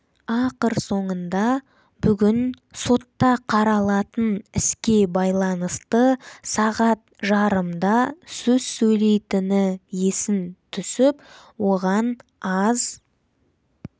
ақыр соңында бүгін сотта қаралатын іске байланысты сағат жарымда сөз сөйлейтіні есін түсіп оған аз